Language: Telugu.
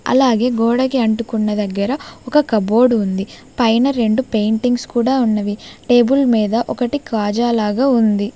అలాగే గోడకి అంటుకున్న దగ్గర ఒక కబోర్డు ఉంది పైన రెండు పెయింటింగ్స్ కూడా ఉన్నవి టేబుల్ మీద ఒక్కటి కాజా లాగ ఉంది.